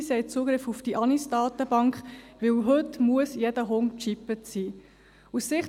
Sie haben Zugriff auf die AnisDatenbank, weil heute jeder Hund gechippt sein muss.